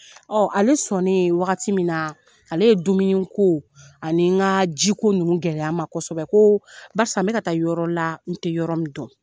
Ɔ ale sɔn ne waagati min na, ale ye dumuni ko ani n ka jiko nugu gɛlɛya n ma kosɛbɛ, ko barisa n bɛ ka taa yɔrɔ la, n tɛ yɔrɔ min dɔn.